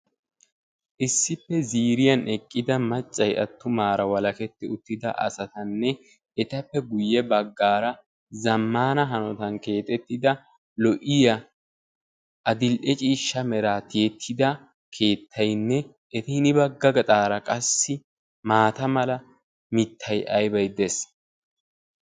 issippe ziiriyan eqida maccay attumara walaketidi uttida assatane etappe guye bagara zammana hanottan keexetida lo"iya adil"e ciishsha mera tiyetida keetaynne ya bagar qassi maata mala mitay aybay dees.